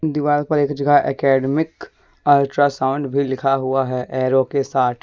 दीवार पर एक जगह एकेडमिक अल्ट्रासाउंड भी कहा हुआ है एरो के साथ।